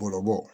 Bɔlɔlɔ bɔ